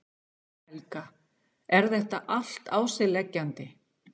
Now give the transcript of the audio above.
Helga: Er þetta allt á sig leggjandi?